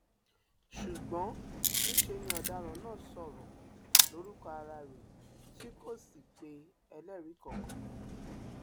ṣùgbọn níṣẹ ni ọdaràn náà sọrọ lórúkọ ara rẹ tí kò sì pe ẹlẹrìí kankan